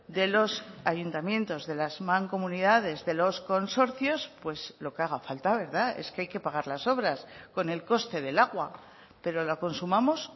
de los ayuntamientos de las mancomunidades de los consorcios pues lo que haga falta verdad es que hay que pagar las obras con el coste de lakua pero la consumamos